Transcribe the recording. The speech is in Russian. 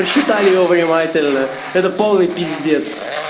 посчитали его внимательно это полный пиздец